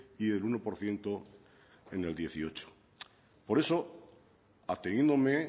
y del uno por ciento en el dos mil dieciocho por eso ateniéndome